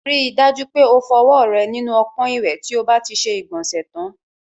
Rí i dájú pé o fọwọ́ rẹ nínú ọpọ́n ìwẹ̀ tí o bá ti ṣe ìgbọ̀nsẹ̀ tán.